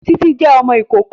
Títí jẹ́ ọmọ ìkókó